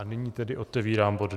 A nyní tedy otevírám bod